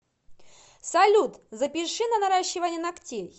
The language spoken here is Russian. салют запиши на наращивание ногтей